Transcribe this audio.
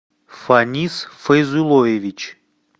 фанис файзулоевич